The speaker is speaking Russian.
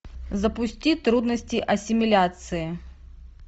запусти трудности ассимиляции